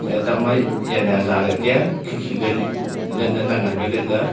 atang ma jali ajaley kya ah khikhi ka latla nan lah le aaa.